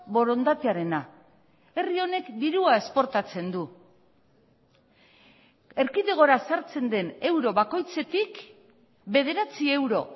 borondatearena herri honek dirua esportatzen du erkidegora sartzen den euro bakoitzetik bederatzi euro